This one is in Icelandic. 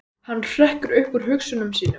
Hann hrekkur upp úr hugsunum sínum.